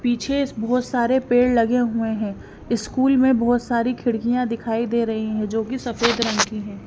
पीछे बहुत सारे पेड़ लगे हुए हैं स्कूल में बहुत सारी खिड़कियां दिखाई दे रही है जो की सफेद रंग की है।